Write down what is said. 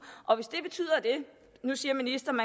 nu siger ministeren